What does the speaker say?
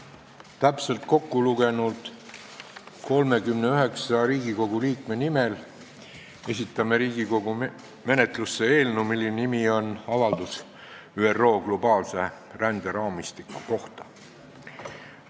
Kui täpselt kokku lugeda, siis 39 Riigikogu liikme nimel esitan menetlusse eelnõu, mille pealkiri on "Riigikogu avaldus "ÜRO globaalse ränderaamistiku kohta"".